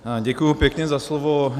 Děkuji pěkně za slovo.